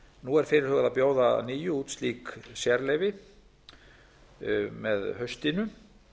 nú er fyrirhugað að bjóða að nýju út slík sérleyfi með haustinu